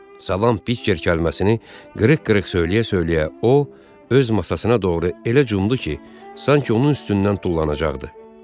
Salam Piker kəlməsini qırığ-qırığ söyləyə-söyləyə o öz masasına doğru elə cumdu ki, sanki onun üstündən tullanacaqdı.